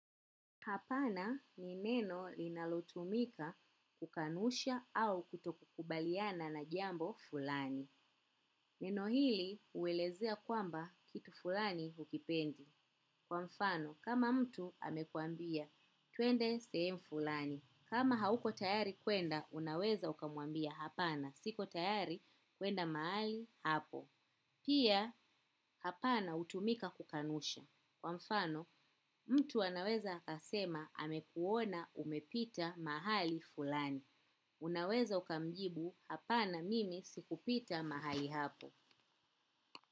Hapana ni neno linalotumika kukanusha au kutokukubaliana na jambo fulani. Neno hili huelezea kwamba kitu fulani hukipendi. Kwa mfano, kama mtu amekuambia, tuende sehemu fulani. Kama hauko tayari kuenda, unaweza ukamuambia hapana. Siko tayari, kuenda mahali hapo. Pia, hapana utumika kukanusha. Kwa mfano, mtu anaweza akasema amekuona umepita mahali fulani. Unaweza ukamjibu hapana mimi sikupita mahali hapo.